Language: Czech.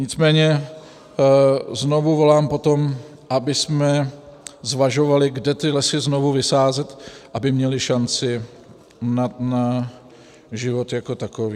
Nicméně znovu volám po tom, abychom zvažovali, kde ty lesy znovu vysázet, aby měly šanci na život jako takový.